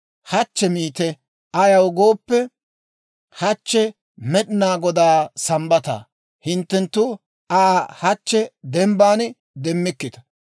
«Hachche miite; ayaw gooppe, hachche Med'inaa Godaa Sambbataa; hinttenttu Aa hachche dembbaan demmikkita.